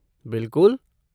बिलकुल!